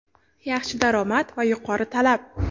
yaxshi daromad va yuqori talab.